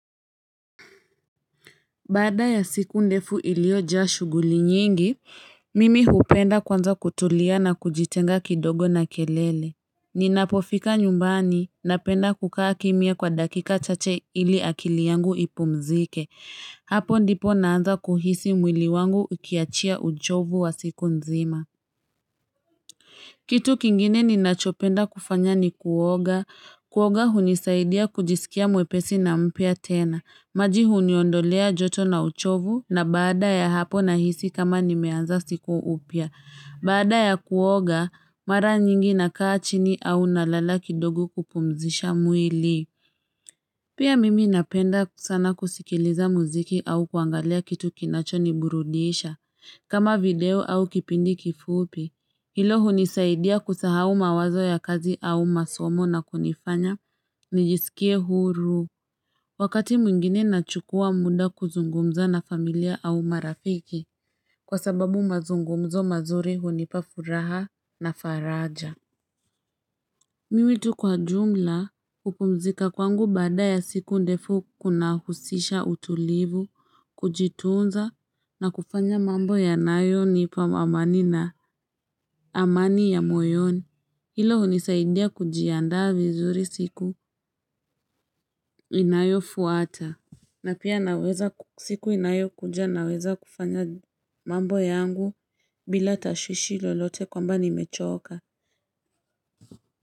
Baada ya siku ndefu iliojaa shughuli nyingi, mimi hupenda kwanza kutulia na kujitenga kidogo na kelele. Ninapofika nyumbani, napenda kukaa kimya kwa dakika chache ili akili yangu ipumzike. Hapo ndipo naanza kuhisi mwili wangu ikiachia uchovu wa siku nzima. Kitu kingine ninachopenda kufanya ni kuoga. Kuoga hunisaidia kujisikia mwepesi na mpya tena. Maji huniondolea joto na uchovu na baada ya hapo nahisi kama nimeanza siku upya. Baada ya kuoga, mara nyingi nakaa chini au nalala kidogo kupumzisha mwili. Pia mimi napenda sana kusikiliza muziki au kuangalia kitu kinachoniburudisha, kama video au kipindi kifupi. Hilo hunisaidia kusahau mawazo ya kazi au masomo na kunifanya, nijisikie huru. Wakati mwingine nachukua muda kuzungumza na familia au marafiki, kwa sababu mazungumzo mazuri hunipa furaha na faraja. Mimi tu kwa jumla kupumzika kwangu baada ya siku ndefu kunahusisha utulivu, kujitunza na kufanya mambo yanayonipa mamani na amani ya moyoni. Hilo hunisaidia kujiandaa vizuri siku inayofuata. Na pia naweza siku inayokuja naweza kufanya mambo yangu bila tashwishi lolote kwamba nimechoka.